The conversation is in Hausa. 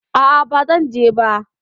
A'a, ba zan je ba.